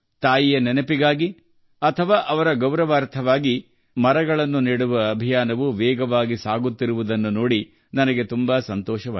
ತಾಯಿಯ ನೆನಪಿಗಾಗಿ ಅಥವಾ ಅವಳ ಗೌರವಾರ್ಥವಾಗಿ ಸಸಿಗಳನ್ನು ನೆಡುವ ಅಭಿಯಾನವು ವೇಗವಾಗಿ ಸಾಗುತ್ತಿರುವುದನ್ನು ನೋಡಿ ನನಗೆ ಅಪಾರ ಸಂತೋಷವಾಗಿದೆ